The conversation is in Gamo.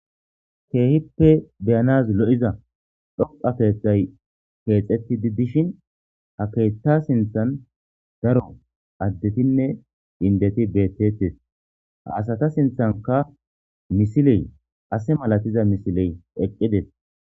Keehippe beyanaz lo'iza dhoqa keeththay keexetti di dishin ha keethta sinthan daro addetinne indeti beettettes ha asata sinthanka misiley ase malatiza misiley eqqides.